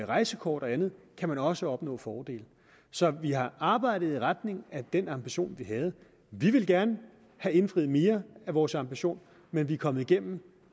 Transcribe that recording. rejsekort og andet kan man også opnå fordele så vi har arbejdet i retning af den ambition vi havde vi ville gerne have indfriet mere af vores ambition men vi er kommet igennem